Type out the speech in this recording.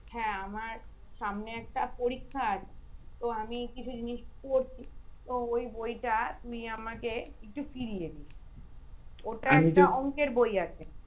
হ্যাঁ আমার সামনে একটা পরীক্ষা আছে তো আমি কিছু জিনিস পড়ছি তো ওই বইটা তুই আমাকে একটু ফিরিয়ে দিস ওটা অঙ্কের বই আছে